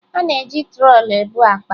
A na-eji trọlị ebu akpa